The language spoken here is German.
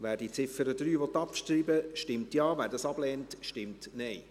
Wer die Ziffer 3 abschreiben will, stimmt Ja, wer dies ablehnt, stimmt Nein.